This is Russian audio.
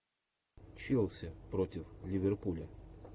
челси против ливерпуля